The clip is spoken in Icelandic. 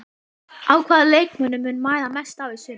Á hvaða leikmönnum mun mæða mest á í sumar?